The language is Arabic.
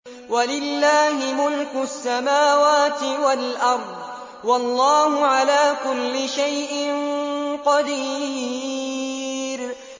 وَلِلَّهِ مُلْكُ السَّمَاوَاتِ وَالْأَرْضِ ۗ وَاللَّهُ عَلَىٰ كُلِّ شَيْءٍ قَدِيرٌ